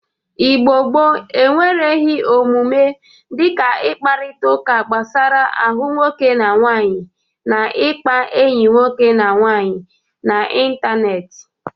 Igbo gboo enwereghi omume dịka ịkparịtaụka gbasara ahụ nwoke na nwaanyị na ịkpa enyi nwoke na nwaanyị n'ịntaneetị.